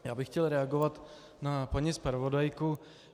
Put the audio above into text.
Já bych chtěl reagovat na paní zpravodajku.